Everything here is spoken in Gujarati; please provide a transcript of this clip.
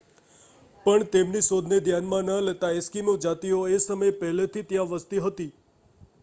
પણ તેમની શોધને ધ્યાનમાં ન લેતાં એસ્કિમો જાતિઓ એ સમયે પહેલેથી ત્યાં વસતી હતી